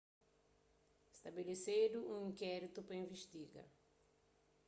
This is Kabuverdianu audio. stabelesedu un inkéritu pa investiga